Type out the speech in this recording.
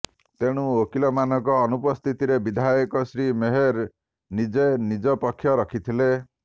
ତେଣୁ ଓକିଲ ମାନଙ୍କ ଅନୁପସ୍ଥିତିରେ ବିଧାୟକ ଶ୍ରୀ ମେହେର ନିଯେ ନିଯ ପକ୍ଷ ରଖିଥିଲେ